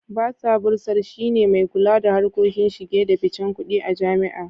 Basa (Bursar) shi ne mai kula da harkokin shige da ficen kudi a jami'a.